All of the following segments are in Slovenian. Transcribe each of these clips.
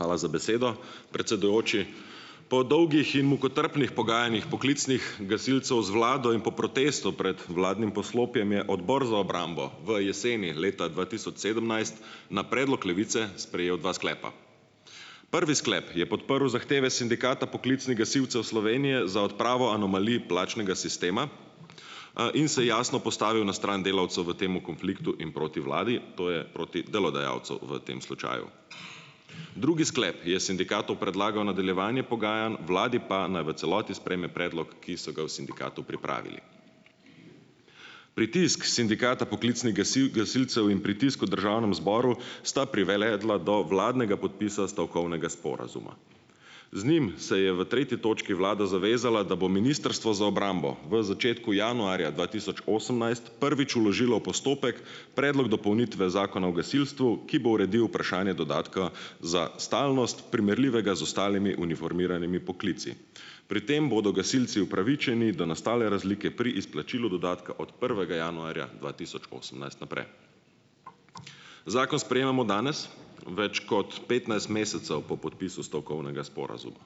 Hvala za besedo, predsedujoči. Po dolgih in mukotrpnih pogajanjih poklicnih gasilcev z vlado in po protestu pred vladnim poslopjem je Odbor za obrambo v jeseni leta dva tisoč sedemnajst na predlog Levice sprejel dva sklepa. Prvi sklep je podprl zahteve Sindikata poklicnih gasilcev Slovenije za odpravo anomalij plačnega sistema, in se jasno postavil na stran delavcev v tem konfliktu in proti vladi. To je proti delodajalcu v tem slučaju. Drugi sklep je sindikatu predlagal nadaljevanje pogajanj, vladi pa, naj v celoti sprejme predlog, ki so ga v sindikatu pripravili. Pritisk Sindikata poklicnih gasilcev in pritisk v državnem zboru sta privedla do vladnega podpisa stavkovnega sporazuma. Z njim se je v tretji točki vlada zavezala, da bo Ministrstvo za obrambo v začetku januarja dva tisoč osemnajst prvič vložilo postopek Predlog dopolnitve zakona o gasilstvu, ki bo uredil vprašanje dodatka za stalnost, primerljivega z ostalimi uniformiranimi poklici. Pri tem bodo gasilci upravičeni do nastale razlike pri izplačilu dodatka od prvega januarja dva tisoč osemnajst naprej. Zakon sprejemamo danes, več kot petnajst mesecev po podpisu stavkovnega sporazuma.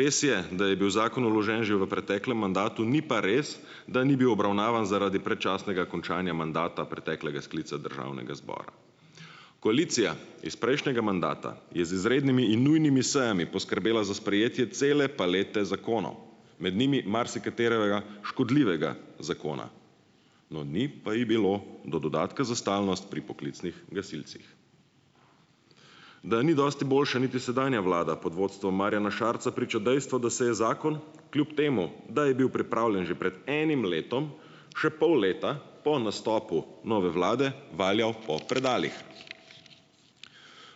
Res je, da je bil zakon vložen že v preteklem mandatu, ni pa res, da ni bil obravnavan zaradi predčasnega končanja mandata preteklega sklica državnega zbora. Koalicija iz prejšnjega mandata je z izrednimi in nujnimi sejami poskrbela za sprejetje cele palete zakonov, med njimi marsikaterega škodljivega zakona. No, ni pa je bilo do dodatka za stalnost pri poklicnih gasilcih. Da ni dosti boljša niti sedanja vlada pod vodstvom Marjana Šarca, priča dejstvo, da se je zakon, kljub temu da je bil pripravljen že pred enim letom, še pol leta po nastopu nove vlade valjal po predalih.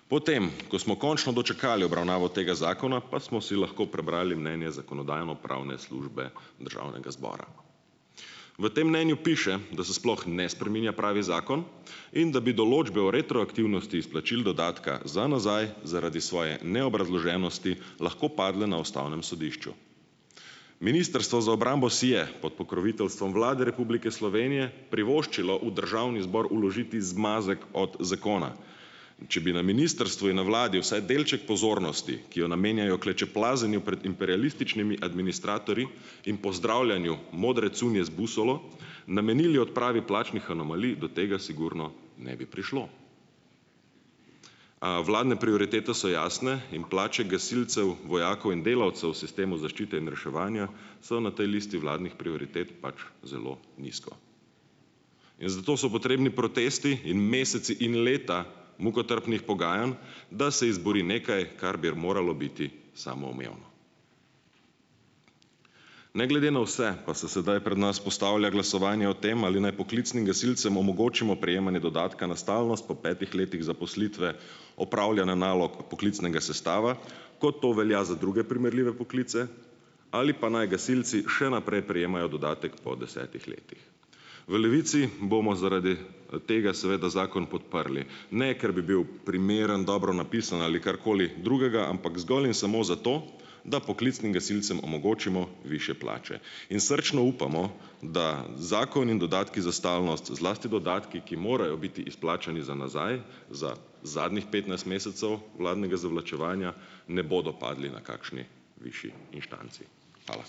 Potem ko smo končno dočakali obravnavo tega zakona, pa smo si lahko prebrali mnenje Zakonodajno-pravne službe Državnega zbora. V tem mnenju piše, da se sploh ne spreminja pravi zakon in da bi določbe o retroaktivnosti izplačil dodatka za nazaj zaradi svoje neobrazloženosti lahko padle na ustavnem sodišču. Ministrstvo za obrambo si je pod pokroviteljstvom Vlade Republike Slovenije privoščilo v državni zbor vložiti zmazek od zakona. Če bi na ministrstvu in na vladi vsaj delček pozornosti, ki jo namenjajo klečeplazenju pred imperialističnimi administratorji in pozdravljanju modre cunje z busolo, namenili odpravi plačnih anomalij, do tega sigurno ne bi prišlo. Vladne prioritete so jasne in plače gasilcev, vojakov in delavcev sistemu zaščite in reševanja so na tej listi vladnih prioritet pač zelo nizko. In zato so potrebni protesti in meseci in leta mukotrpnih pogajanj, da se izbori nekaj, kar bi moralo biti samoumevno. Ne glede na vse pa se sedaj pred nas postavlja glasovanje o tem, ali naj poklicnim gasilcem omogočimo prejemanje dodatka na stalnost po petih letih zaposlitve, upravljanja nalog poklicnega sestava, kot to velja za druge primerljive poklice, ali pa naj gasilci še naprej prejemajo dodatek po desetih letih. V Levici bomo zaradi, tega seveda zakon podprli, ne, ker bi bil primeren, dobro napisan ali karkoli drugega, ampak zgolj in samo zato, da poklicnim gasilcem omogočimo višje plače. In srčno upamo, da zakon in dodatki za stalnost, zlasti dodatki, ki morajo biti izplačani za nazaj, za zadnjih petnajst mesecev vladnega zavlačevanja, ne bodo padli na kakšni višji inštanci. Hvala.